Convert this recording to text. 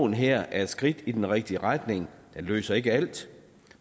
her er et skridt i den rigtige retning det løser ikke alt